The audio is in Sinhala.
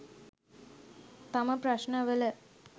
තම ප්‍රශ්න වල